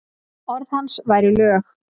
Orð hans væru lög.